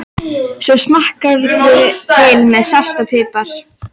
Svo smakkarðu til með salti og pipar.